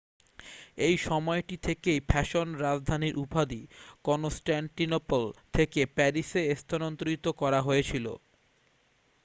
এই সময়টি থেকেই ফ্যাশন রাজধানীর উপাধি কনস্ট্যাণ্টিনোপল থেকে প্যারিসে স্থানান্তরিত করা হয়েছিল